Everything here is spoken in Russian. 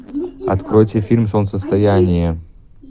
откройте фильм солнцестояние